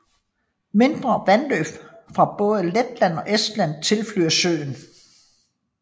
Mindre vandløb fra både Letland og Estland tilflyder søen